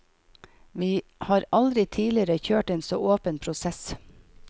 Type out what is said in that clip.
Vi har aldri tidligere kjørt en så åpen prosess.